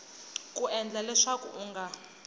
ku endla leswaku u nga